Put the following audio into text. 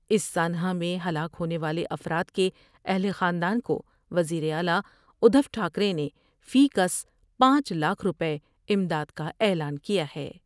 اس سانحہ میں ہلاک ہونے والے افراد کے اہل خاندان کو وزیر اعلی ادھوٹھا کرے نے فی کس پانچ لاکھ روپے امداد کا اعلان کیا ہے